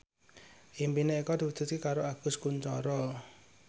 impine Eko diwujudke karo Agus Kuncoro